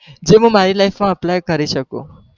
જે હું મારી LIFE માં apply કરી શકું